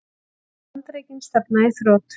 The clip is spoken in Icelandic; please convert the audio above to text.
Segir Bandaríkin stefna í þrot